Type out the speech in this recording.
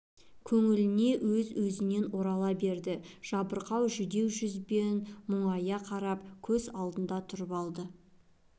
көңіліне өз-өзінен орала береді жабырқау жүдеу жүзбен мұңая қарап көз алдында тұрып алды